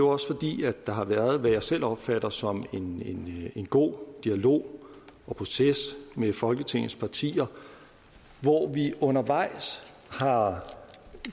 også fordi der har været hvad jeg selv opfatter som en en god dialog og proces med folketingets partier hvor vi undervejs har